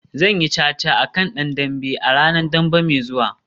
Zan yi caca a kan dan dambe a ranar Dambe mai zuwa